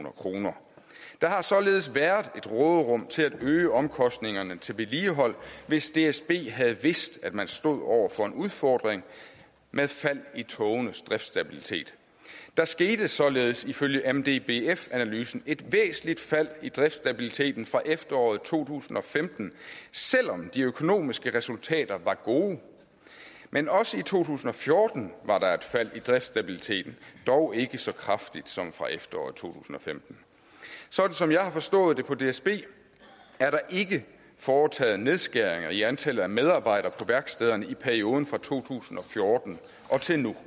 kroner der har således været et råderum til at øge omkostningerne til vedligehold hvis dsb havde vidst at man stod over for en udfordring med fald i togenes driftsstabilitet der skete således ifølge mdbf analysen et væsentligt fald i driftsstabiliteten fra efteråret to tusind og femten selv om de økonomiske resultater var gode men også i to tusind og fjorten var der et fald i driftsstabiliteten dog ikke så kraftigt som fra efteråret to tusind og femten sådan som jeg har forstået det på dsb er der ikke foretaget nedskæringer i antallet af medarbejdere på værkstederne i perioden fra to tusind og fjorten og til nu